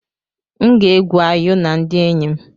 M ga-egwu ayò na ndị enyi m.